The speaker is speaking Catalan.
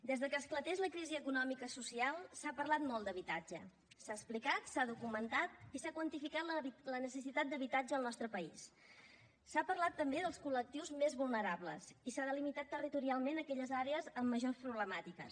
des de que va esclatar la crisi econòmica social s’ha parlat molt d’habitatge s’ha explicat s’ha documentat i s’ha quantificat la necessitat d’habitatge al nostre país s’ha parlat també dels col·lectius més vulnerables i s’han delimitat territorialment aquelles àrees amb majors problemàtiques